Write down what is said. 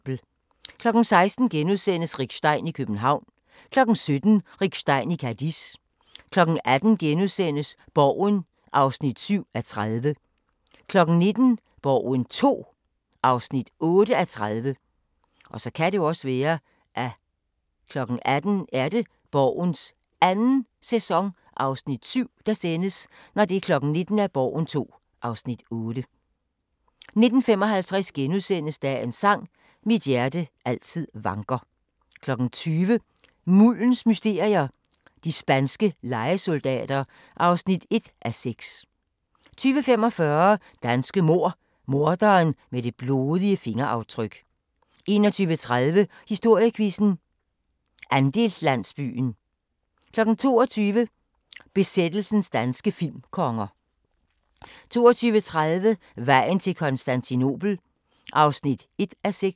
16:00: Rick Stein i København * 17:00: Rick Stein i Cadiz 18:00: Borgen (7:30)* 19:00: Borgen II (8:30) 19:55: Dagens sang: Mit hjerte altid vanker * 20:00: Muldens mysterier - de spanske lejesoldater (1:6) 20:45: Danske mord – Morderen med det blodige fingeraftryk 21:30: Historiequizzen: Andelslandsbyen 22:00: Besættelsens danske filmkonger 22:30: Vejen til Konstantinopel (1:6)